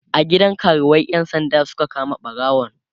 a gidan karuwai ƴan sanda Suka kama ɓarawon